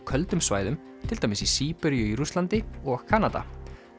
köldum svæðum til dæmis í Síberíu í Rússlandi og Kanada